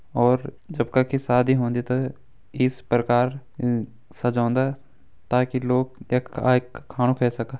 और जब कखि शादी होंदी त इस प्रकार साजोन्दा ताकि लोग यख आकि खाणु खै सका।